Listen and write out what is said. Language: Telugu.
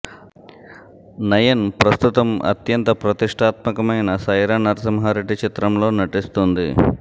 నయన్ ప్రస్తుతం అత్యంత ప్రతిష్టాత్మకమైన సైరా నరసింహా రెడ్డి చిత్రంలో నటిస్తోంది